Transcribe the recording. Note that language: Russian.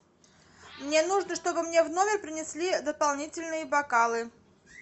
мне нужно чтобы мне в номер принесли дополнительные бокалы